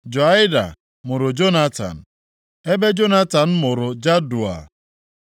Joiada mụrụ Jonatan, ebe Jonatan mụrụ Jadua.